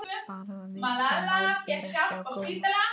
Bara að viðkvæm mál beri ekki á góma.